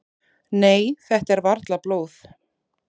"""Nei, þetta er varla blóð."""